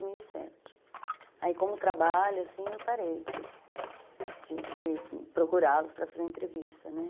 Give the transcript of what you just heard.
mil e Aí como trabalho, assim, eu parei de de de procurá-los para fazer entrevista, né?